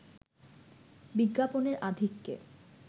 বিজ্ঞাপনের আধিক্যে